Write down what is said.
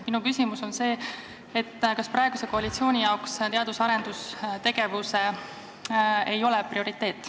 Minu küsimus on see, kas praeguse koalitsiooni jaoks ei ole teadus- ja arendustegevus prioriteet.